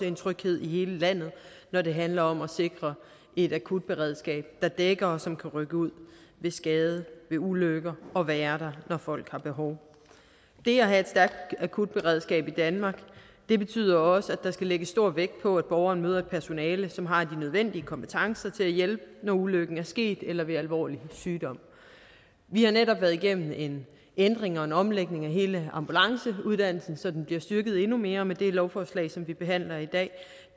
en tryghed i hele landet når det handler om at sikre et akutberedskab der dækker og som kan rykke ud ved skade ved ulykker og være der når folk har behov det at have et stærkt akutberedskab i danmark betyder også at der skal lægges stor vægt på at borgeren møder et personale som har de nødvendige kompetencer til at hjælpe når ulykken er sket eller ved alvorlig sygdom vi har netop været igennem en ændring og en omlægning af hele ambulanceuddannelsen så den bliver styrket endnu mere og med det lovforslag som vi behandler i dag